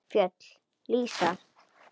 Fjöll lýsast.